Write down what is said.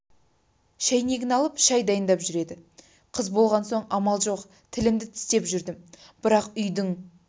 шәйнегін алып шай дайындап жүреді қыз болған соң амал жоқ тілімді тістеп жүрдім бірақ үйдің